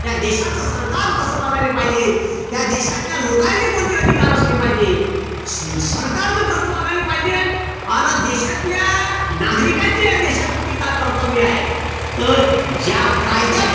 त्या देशाचं सरकार कस वागायला पाहिजे त्या देशातल्या लोकांसाठी कोणते अधिकार असले पाहिजे सरकार कस वागायला पाहिजेन अन देशातल्या नागरिकांचे या देशाप्रती काय कर्तव्य आहे तर ज्या कायद्या